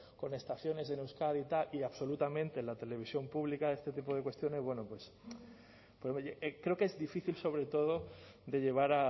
con estaciones en euskadi y tal y absolutamente en la televisión pública este tipo de cuestiones bueno pues creo que es difícil sobre todo de llevar